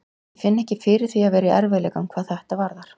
Ég finn ekki fyrir því að vera í erfiðleikum hvað þetta varðar.